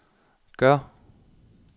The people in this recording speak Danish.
gør